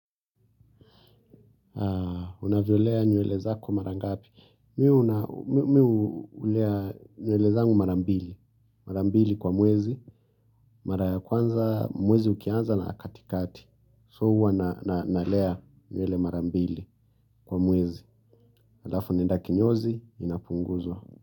Unavyolea nywele zako mara ngapi? Mi hu hulea nywele zangu mara mbili. Mara mbili kwa mwezi. Mara ya kwanza, mwezi ukianza na katikati. So huwa nalea nywele mara mbili kwa mwezi. Halafu naenda kinyozi, inapunguzwa.